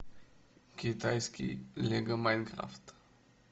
китайский лего майнкрафт